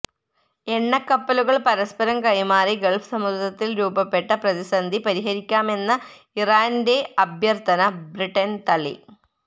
എണ്ണ കപ്പലുകൾ പരസ്പരം കൈമാറി ഗൾഫ് സമുദ്രത്തിൽ രൂപപ്പെട്ട പ്രതിസന്ധി പരിഹരിക്കാമെന്ന ഇറാന്റെ അഭ്യർഥന ബ്രിട്ടൻ തള്ളി